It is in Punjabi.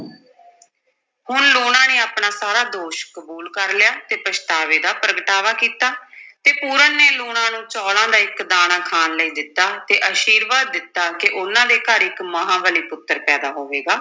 ਹੁਣ ਲੂਣਾ ਨੇ ਆਪਣਾ ਸਾਰਾ ਦੋਸ਼ ਕਬੂਲ ਕਰ ਲਿਆ ਤੇ ਪਛਤਾਵੇ ਦਾ ਪ੍ਰਗਟਾਵਾ ਕੀਤਾ ਤੇ ਪੂਰਨ ਨੇ ਲੂਣਾਂ ਨੂੰ ਚੌਲ਼ਾਂ ਦਾ ਇੱਕ ਦਾਣਾ ਖਾਣ ਲਈ ਦਿੱਤਾ ਤੇ ਅਸ਼ੀਰਵਾਦ ਦਿੱਤਾ ਕਿ ਉਨ੍ਹਾਂ ਦੇ ਘਰ ਇੱਕ ਮਹਾਂਬਲੀ ਪੁੱਤਰ ਪੈਦਾ ਹੋਵੇਗਾ।